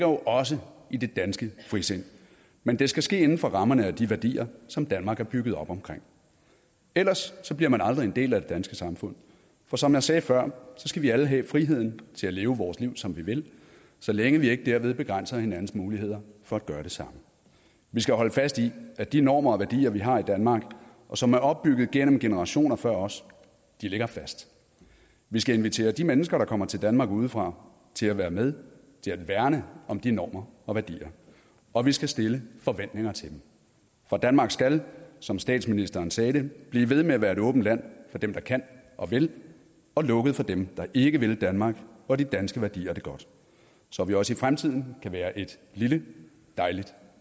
jo også i det danske frisind men det skal ske inden for rammerne af de værdier som danmark er bygget op om ellers bliver man aldrig en del af det danske samfund for som jeg sagde før skal vi alle have friheden til at leve vores liv som vi vil så længe vi ikke derved begrænser hinandens muligheder for at gøre det samme vi skal holde fast i at de normer og værdier vi har i danmark og som er opbygget gennem generationer før os ligger fast vi skal invitere de mennesker der kommer til danmark udefra til at være med til at værne om de normer og værdier og vi skal stille forventninger til dem for danmark skal som statsministeren sagde det blive ved med at være et åbent land for dem der kan og vil og lukket for dem der ikke vil danmark og de danske værdier det godt så vi også i fremtiden kan være et lille dejligt